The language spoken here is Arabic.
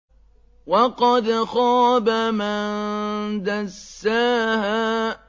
وَقَدْ خَابَ مَن دَسَّاهَا